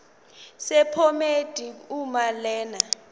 sephomedi uma lena